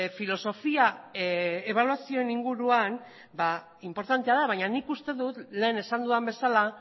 filosofia ebaluazioen inguruan inportantea da baina nik uste dut lehen esan dudan bezala